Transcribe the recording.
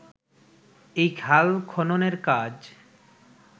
এই খাল খননের কাজ